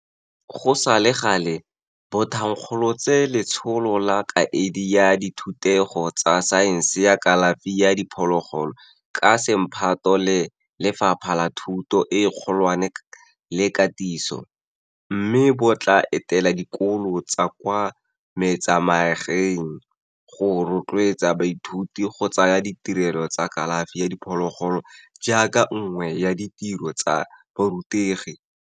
Go sa le gale, bo thankgolotse Letsholo la Kaedi ya Dithutego tsa Saense ya Kalafi ya Diphologolo ka semphato le Lefapha la Thuto e Kgolwane le Katiso, mme bo tla etela dikolo tsa kwa metsemagaeng go rotloetsa baithuti go tsaya ditirelo tsa kalafi ya diphologolo jaaka nngwe ya ditiro tsa borutegi.